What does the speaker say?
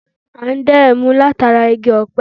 À n dá ẹmu látara Igi ọ̀pẹ